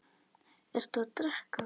Ertu að drekka?